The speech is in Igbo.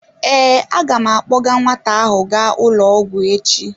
Ee, a ga m akpọga nwata ahụ gaa ụlọ ọgwụ echi.